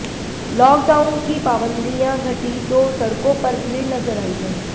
lock down की पाबंदियां घटी तो सड़कों पर भीड़ नजर आयी है